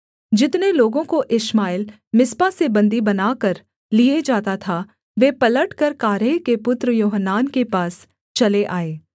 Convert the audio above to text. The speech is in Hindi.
जितने लोगों को इश्माएल मिस्पा से बन्दी बनाकर लिए जाता था वे पलटकर कारेह के पुत्र योहानान के पास चले आए